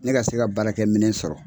Ne ka se ka baarakɛ minɛn sɔrɔ